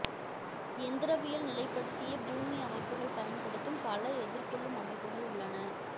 எந்திரவியல் நிலைப்படுத்திய பூமி அமைப்புகள் பயன்படுத்தும் பல எதிர்கொள்ளும் அமைப்புகள் உள்ளன